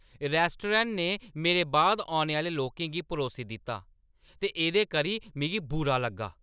Restaurant ने मेरे बाद औने आह्‌ले लोकें गी परोसी दित्ता ते एह्दे करी मिगी बुरा लग्गा।